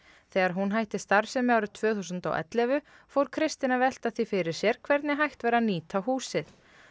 þegar hún hætti starfsemi árið tvö þúsund og ellefu fór Kristinn að velta því fyrir sér hvernig hægt væri að nýta húsið